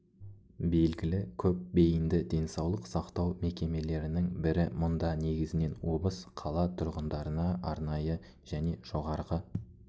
белгілі көп бейінді денсаулық сақтау мекемелерінің бірі мұнда негізінен обыс қала тұрғындарына арнайы жне жоғарғы